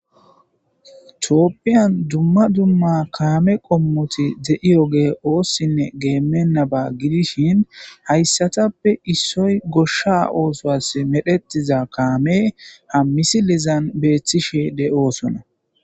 tophiyan dumma dumma kaame qommoti de7iyo ge oossinne geemmennaba gidishin hayssatappe issoy goshsha oosoas medhetiza kaame hammisilizan beeththishe de7oosona